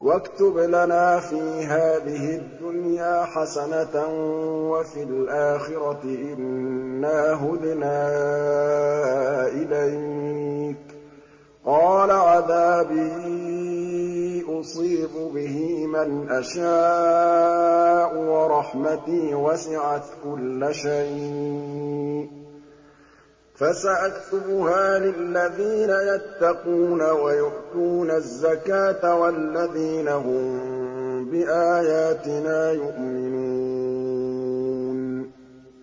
۞ وَاكْتُبْ لَنَا فِي هَٰذِهِ الدُّنْيَا حَسَنَةً وَفِي الْآخِرَةِ إِنَّا هُدْنَا إِلَيْكَ ۚ قَالَ عَذَابِي أُصِيبُ بِهِ مَنْ أَشَاءُ ۖ وَرَحْمَتِي وَسِعَتْ كُلَّ شَيْءٍ ۚ فَسَأَكْتُبُهَا لِلَّذِينَ يَتَّقُونَ وَيُؤْتُونَ الزَّكَاةَ وَالَّذِينَ هُم بِآيَاتِنَا يُؤْمِنُونَ